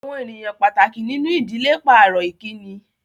Àwọn ènìyàn pàtàkì nínú ìdílé pàrọ̀ Ìkíni